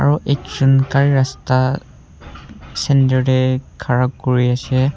aru ekjun gari rasta center teh khara kuri ase.